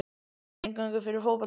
Er þetta eingöngu fyrir fótboltamenn?